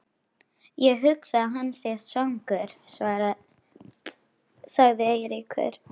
Ég hugsa að hann sé svangur sagði Eiríkur.